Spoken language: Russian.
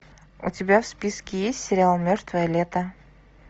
у тебя в списке есть сериал мертвое лето